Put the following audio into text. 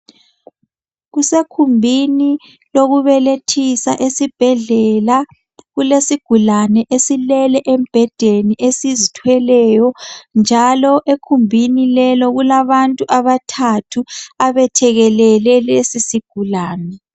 Kusekhumbini lokubelethisa esibhedlela, kukesigulane esilele embhedeni esizithweleyo njalo ekhumbini lelo kulabantu abathathu abethekelele lesi sigulane.